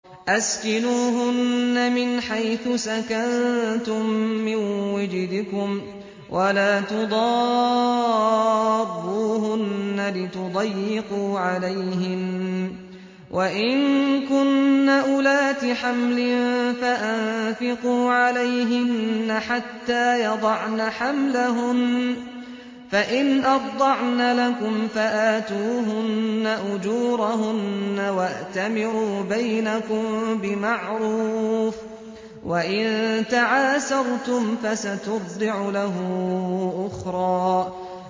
أَسْكِنُوهُنَّ مِنْ حَيْثُ سَكَنتُم مِّن وُجْدِكُمْ وَلَا تُضَارُّوهُنَّ لِتُضَيِّقُوا عَلَيْهِنَّ ۚ وَإِن كُنَّ أُولَاتِ حَمْلٍ فَأَنفِقُوا عَلَيْهِنَّ حَتَّىٰ يَضَعْنَ حَمْلَهُنَّ ۚ فَإِنْ أَرْضَعْنَ لَكُمْ فَآتُوهُنَّ أُجُورَهُنَّ ۖ وَأْتَمِرُوا بَيْنَكُم بِمَعْرُوفٍ ۖ وَإِن تَعَاسَرْتُمْ فَسَتُرْضِعُ لَهُ أُخْرَىٰ